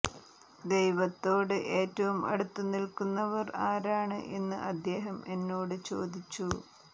ദൈവത്തോട് ഏറ്റവും അടുത്തു നില്ക്കുന്നവർ ആരാണ് എന്ന് അദ്ദേഹം എന്നോടു ചോദിച്ചു